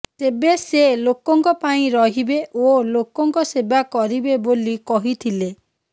ତେବେ ସେ ଲୋକଙ୍କ ପାଇଁ ରହିବେ ଓ ଲୋକଙ୍କ ସେବା କରିବେ ବୋଲି କହିଥିଲେ